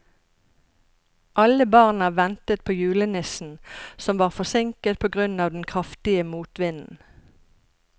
Alle barna ventet på julenissen, som var forsinket på grunn av den kraftige motvinden.